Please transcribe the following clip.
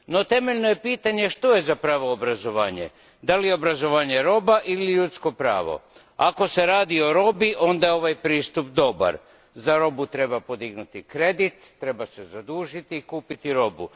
Temeljno je pitanje što je zapravo obrazovanje, je li obrazovanje roba ili ljudsko pravo ako je riječ o robi, onda je ovaj pristup dobar, za robu treba podignuti kredit, treba se zadužiti i kupiti robu.